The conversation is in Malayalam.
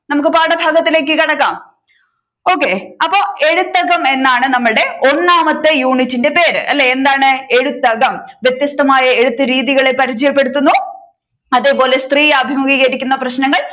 നമുക്ക് പാഠഭാഗത്തിലേക്ക് കടക്കാം okay അപ്പൊ എഴുത്തകം എന്നാണ് നമ്മുടെ ഒന്നാമത്തെ യൂണിറ്റിന്റെ പേര് അല്ലെ എന്താണ് എഴുത്തകം വ്യത്യസ്തമായ എഴുത്തു രീതികളെ പരിചയപ്പെടുത്തുന്നു. അതേപോലെ സ്ത്രീ അഭിമുഖികരിക്കുന്ന പ്രശ്നങ്ങൾ